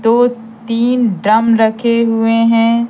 दो तीन ड्रम रखे हुए हैं।